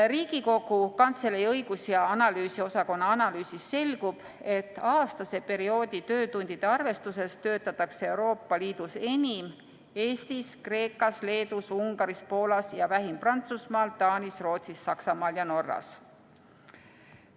Riigikogu Kantselei õigus- ja analüüsiosakonna analüüsist selgub, et aastase perioodi töötundide arvestuses töötatakse Euroopa Liidus enim Eestis, Kreekas, Leedus, Ungaris, Poolas ja vähim Prantsusmaal, Taanis, Rootsis, Saksamaal ja Norras.